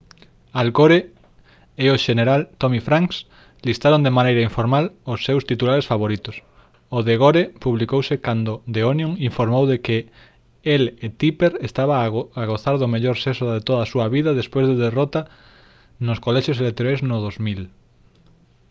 al gore e o xeneral tommy franks listaron de maneira informal os seus titulares favoritos o de gore publicouse cando the onion informou de que el e tipper estaban a gozar do mellor sexo de toda a súa vida despois da derrota nos colexios electorais no 2000